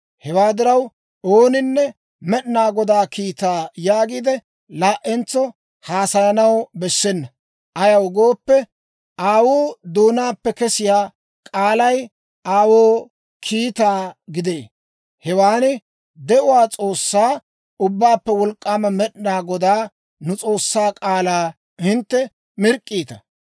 Hewaa diraw, ooninne, ‹Med'inaa Godaa kiitaa› yaagiide laa"entso haasayanaw bessena. Ayaw gooppe, aawuu doonaappe kesiyaa k'aalay aawoo kiitaa gidee. Hewan de'uwaa S'oossaa, Ubbaappe Wolk'k'aama Med'inaa Godaa, nu S'oossaa k'aalaa hintte mirk'k'iita.